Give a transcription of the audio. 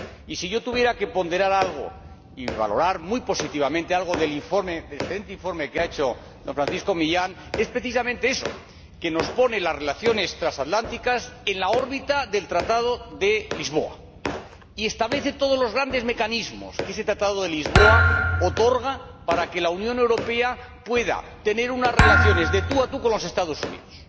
Y, si yo tuviera que ponderar algo y valorar muy positivamente algo del excelente informe que ha hecho el señor Millán Mon, es precisamente eso, que nos pone las relaciones transatlánticas en la órbita del Tratado de Lisboa y establece todos los grandes mecanismos que ese Tratado de Lisboa otorga para que la Unión Europea pueda mantener unas relaciones de tú a tú con los Estados Unidos.